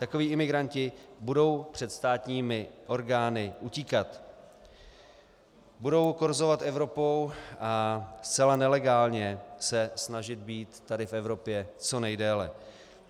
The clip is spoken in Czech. Takoví imigranti budou před státními orgány utíkat, budou korzovat Evropou a zcela nelegálně se snažit být tady v Evropě co nejdéle.